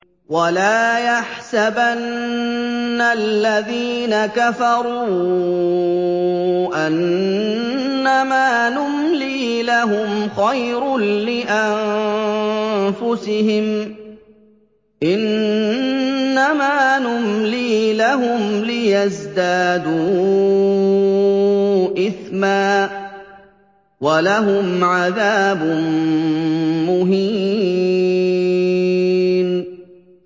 وَلَا يَحْسَبَنَّ الَّذِينَ كَفَرُوا أَنَّمَا نُمْلِي لَهُمْ خَيْرٌ لِّأَنفُسِهِمْ ۚ إِنَّمَا نُمْلِي لَهُمْ لِيَزْدَادُوا إِثْمًا ۚ وَلَهُمْ عَذَابٌ مُّهِينٌ